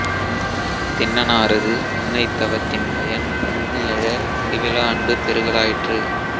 திண்ணனாரது முன்னைத் தவத்தின்பயன் முன்னி எழ முடிவிலா அன்பு பெருகலாயிற்று